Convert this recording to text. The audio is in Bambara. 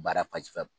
Baara